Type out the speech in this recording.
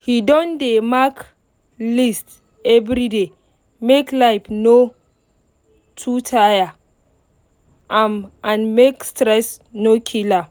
he don dey mark list everyday make life no too tire am and make stress no kill am